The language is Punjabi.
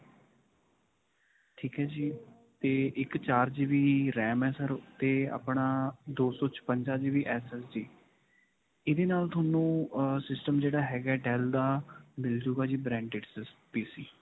ਠੀਕ ਹੈ ਜੀ. 'ਤੇ ਇਕ ਚਾਰ GB RAM ਹੈ 'ਤੇ ਆਪਣਾ ਦੋ ਸੌ ਛਪਿੰਜਾ GB SSD ਇਹਦੇ ਨਾਲ ਤੁਹਾਨੂੰ system ਜਿਹੜਾ ਹੈਗਾ ਹੈ dell ਦਾ ਮਿਲ ਜਾਵੇਗਾ ਜੀ branded PC.